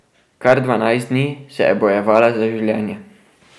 Kar dvanajst dni se je bojevala za življenje.